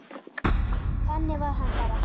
Þannig var hann bara.